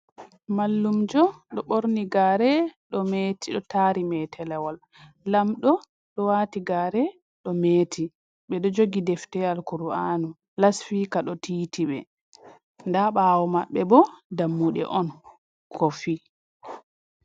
Mallumjo ɗo ɓorni gaare, ɗo meeti ɗo taari meetalawol. Lamɗo waati gaare ɗo meeti, ɓe ɗo jogi defte al-Kur'aanu, lasfiika ɗo tiiti ɓe. Daa ɓaawo maɓɓe bo dammuɗe on, kofi.